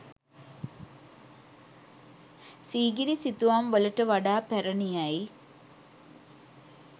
සීගිරි සිතුවම් වලට වඩා පැරණි යැයි